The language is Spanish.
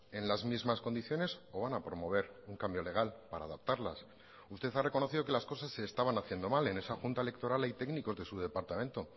en las mismas condiciones o van a promover un cambio legal para adaptarlas usted ha reconocido que las cosas se estaban haciendo mal en esa junta electoral hay técnicos de su departamento